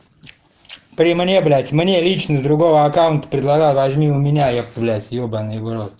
при мне блять мне лично с другого аккаунта предлагал возьми у меня епта блять ебанный в рот